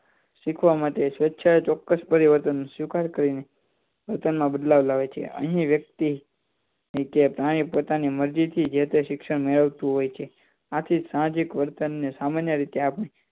શીખવા માટે સ્વેચ્છાએ ચોક્કસ પરિવર્તન સ્વીકાર કરીને પોતાનામાં બદલાવ લાવે છે અહી વ્યક્તિ કે પ્રાણી પોતની મરજી થી જેતે શિક્ષણ મેળવતું હોય છે આથી સાહજિક વર્તને સામાન્ય રીતે